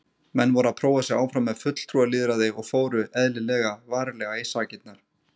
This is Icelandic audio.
Menn voru að prófa sig áfram með fulltrúalýðræði og fóru, eðlilega, varlega í sakirnar.